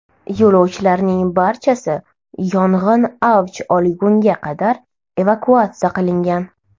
Yo‘lovchilarning barchasi yong‘in avj olgunga qadar evakuatsiya qilingan.